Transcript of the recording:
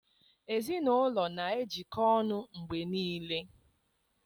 Ezinụlọ na-ejikọta ọnụ mgbe niile